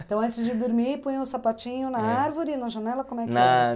Então antes de dormir, põe o sapatinho na árvore, na janela, como é que era?